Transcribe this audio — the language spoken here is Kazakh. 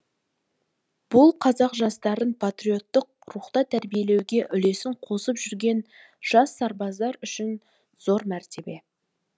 бұл қазақ жастарын патриоттық рухта тәрбиелеуге үлесін қосып жүрген жас сарбаздар үшін зор мәртебе